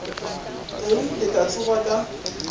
ke ile ka tsoga ka